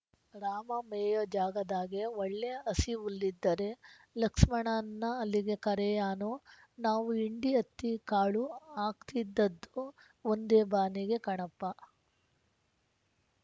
ರಾಮ ಮೇಯೋ ಜಾಗದಾಗೆ ಒಳ್ಳೆ ಹಸಿಹುಲ್ಲಿದ್ದರೆ ಲಕ್ಸ್ಮಣನ್ನ ಅಲ್ಲಿಗೆ ಕರಿಯಾನು ನಾವು ಹಿಂಡಿಹತ್ತಿಕಾಳು ಹಾಕ್ತಿದ್ದದ್ದು ಒಂದೇಬಾನಿಗೆ ಕಣಪ್ಪ